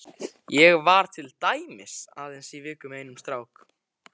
Ég var til dæmis aðeins í viku með einum stráknum.